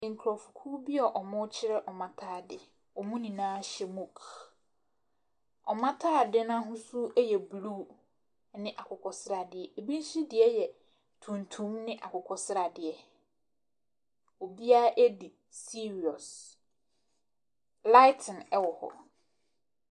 Nkorɔfokuu bi a ɔmoo kyerɛ ɔmo ataadeɛ. Ɔmo nyinaa hyɛ mok. Ɔmo ataadeɛ n'ahosuo yɛ bluu ɛne akokɔsradeɛ. Ɛbi nsodeɛ yɛ tuntum ne akokɔsradeɛ. Obia edi siiriɔs. Laeten ɛwɔ hɔ.